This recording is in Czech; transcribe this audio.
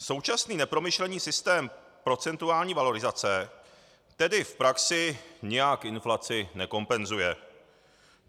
Současný nepromyšlený systém procentuální valorizace tedy v praxi nijak inflaci nekompenzuje.